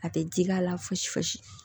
A tɛ ji k'a la fosi fosi